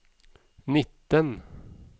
nitten